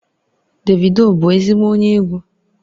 Davido bụ ezigbo onye egwu?